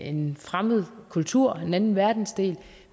en fremmed kultur fra en anden verdensdel